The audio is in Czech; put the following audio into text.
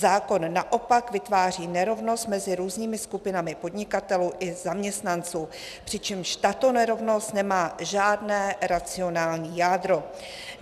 Zákon naopak vytváří nerovnost mezi různými skupinami podnikatelů i zaměstnanců, přičemž tato nerovnost nemá žádné racionální jádro.